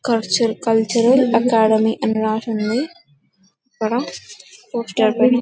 cultural academy అని రాసింది అక్కడ పోస్టర్లు